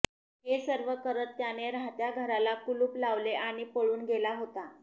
हे सर्व करत त्याने राहत्या घराला कुलूप लावले आणि पळून गेला होता